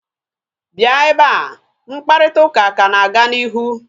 Bịa ebea!mkparịta ụka ka na-aga n'ihu